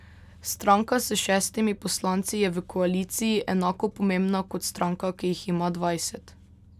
Stranka s šestimi poslanci je v koaliciji enako pomembna kot stranka, ki jih ima dvajset.